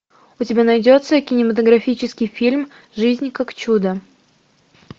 у тебя найдется кинематографический фильм жизнь как чудо